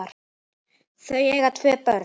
Þau eiga tvö börn.